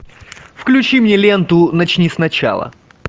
включи мне ленту начни сначала